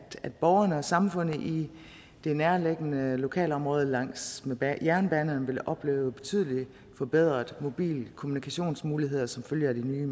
borgerne og samfundet i det nærliggende lokalområdet langs med jernbanerne vil opleve betydelig forbedrede mobil og kommunikationsmuligheder som følge af de nye